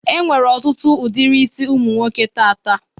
Enwere ọtụtụ udiri isi ụmụnwoke taata.